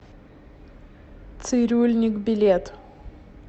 цирюльник билет